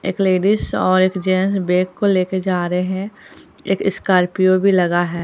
एक लेडिस और एक जेंस बैग को लेके जा रहे है एक स्कॉर्पियो भी लगा है।